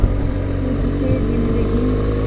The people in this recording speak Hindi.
तुझ से जिंदगी